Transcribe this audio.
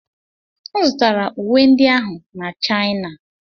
M zụtara uwe ndị ahụ na China.